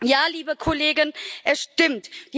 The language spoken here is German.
Ja, liebe Kollegen, es stimmt!